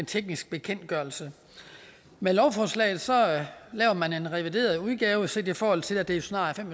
teknisk bekendtgørelse med lovforslaget laver man en revideret udgave set i forhold til at det jo snart